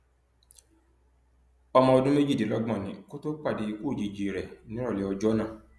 ọmọ ọdún méjìdínlọgbọn ni kó tóo pàdé ikú òjijì rẹ nírọlẹ ọjọ náà